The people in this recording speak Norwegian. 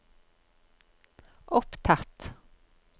opptatt